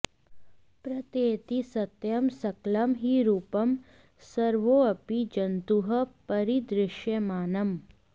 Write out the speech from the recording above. प्रत्येति सत्यं सकलं हि रूपं सर्वोऽपि जन्तुः परिदृश्यमानम्